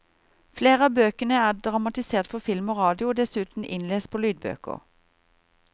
Flere av bøkene er dramatisert for film og radio og dessuten innlest på lydbøker.